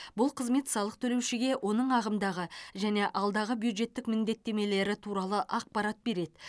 бұл қызмет салық төлеушіге оның ағымдағы және алдағы бюджеттік міндеттемелері туралы ақпарат береді